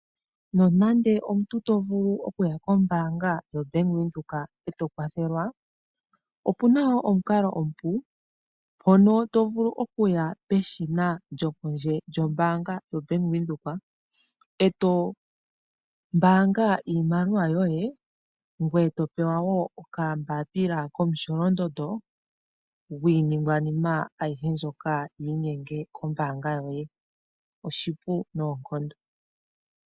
Nonande omuntu to vulu okuya kombaanga yoBank Windhoek e to kwathelwa, opuna wo omukalo omupu hono to vulu okuya keshina lyombaanga lyo pondje lyombaanga yoBank Windhoek, e to mbaanga iimaliwa yoye ngoye to pewa wo okambapila komusholondondo gwiiningwanima ayihe mbyoka tayi inyenge kombaanga yoye. Oshipu noonkondo.